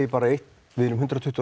eitt við erum hundrað tuttugu og